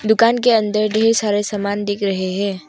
दुकान के अंदर ढेर सारे सामान दिख रहे हैं।